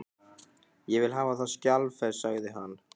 Ég vil hafa það skjalfest, sagði hann.